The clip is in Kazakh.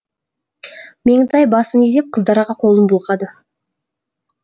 меңтай басын изеп қыздарға қолын бұлғады